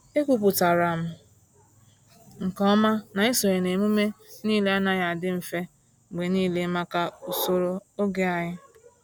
Ekwupụtara m nke ọma na isonye na emume niile anaghị adị mfe mgbe niile maka usoro oge anyị.